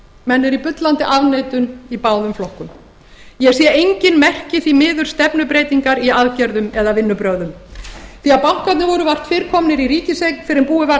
menn eru í bullandi afneitun í báðum flokkum ég sé því miður engin merki stefnubreytingar í aðgerðum eða vinnubrögðum því bankarnir voru vart fyrr komnir í ríkiseign fyrr en búið var að